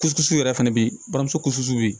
Kulusiw yɛrɛ fɛnɛ be yen bamuso kusiw be yen